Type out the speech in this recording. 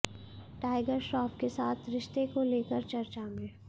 tiger Shroff के साथ रिश्ते को लेकर चर्चा में